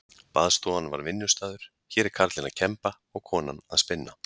Baðstofan var vinnustaður, hér er karlinn að kemba og konan að spinna.